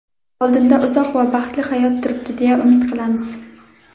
Oldinda uzoq va baxtli hayot turibdi deya umid qilamiz.